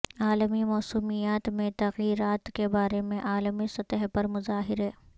عالمی موسمیات میں تغیرات کے بارے میں عالمی سطح پر مظاہرے